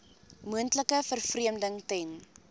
moontlike vervreemding ten